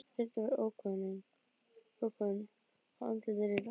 Röddin var ókunn og andlitið líka.